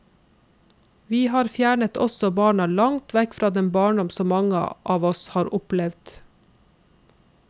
Vi har fjernet oss og barna langt vekk fra den barndom som mange av oss har opplevd.